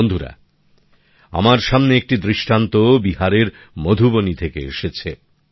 বন্ধুরা আমার সামনে একটি দৃষ্টান্ত বিহারের মধুবনী থেকে এসেছে